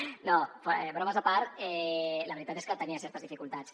no bromes a part la veritat és que tenia certes dificultats